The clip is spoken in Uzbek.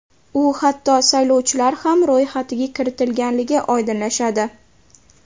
U hatto saylovchilar ham ro‘yxatiga ham kiritilgani oydinlashadi.